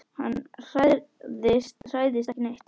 Hann hræðist ekki neitt.